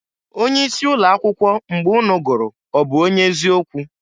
Onye isi ụlọ akwụkwọ mgbe ụnụ gụrụ ọ bụ onye ezi okwu?